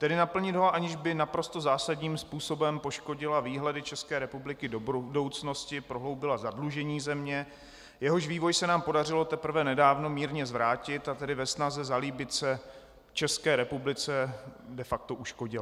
Tedy naplnit ho, aniž by naprosto zásadním způsobem poškodila výhledy České republiky do budoucnosti, prohloubila zadlužení země, jehož vývoj se nám podařilo teprve nedávno mírně zvrátit, a tedy ve snaze zalíbit se České republice de facto uškodila.